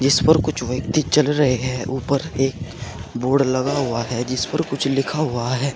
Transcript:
जिस पर कुछ व्यक्ति चल रहे हैं ऊपर एक बोर्ड लगा हुआ है जिस पर कुछ लिखा हुआ है।